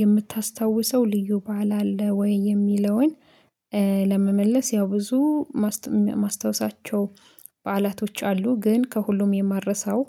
የምታስታውሰው ልዩ በዓል አለ ወይ የሚለውን? ለመመለስ ያው ብዙ ማስታውሳቸው በዓላቶች አሉ ግን ከሁሉም የማረሳው